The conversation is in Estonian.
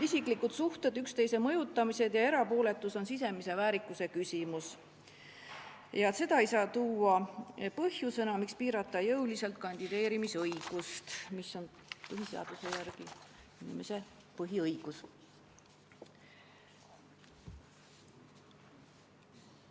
Isiklikud suhted, üksteise mõjutamine ja erapooletus on sisemise väärikuse küsimus ning seda ei saa tuua põhjusena, miks piirata jõuliselt kandideerimisõigust, mis on põhiseaduse järgi inimese põhiõigus.